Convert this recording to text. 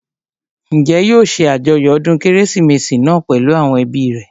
Njẹ́ yóò ṣe àjọyọ̀ ọdún kérésìmesì náà pèlú àwọn ẹbí rẹ̀?